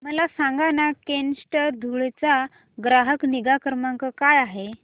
मला सांगाना केनस्टार धुळे चा ग्राहक निगा क्रमांक काय आहे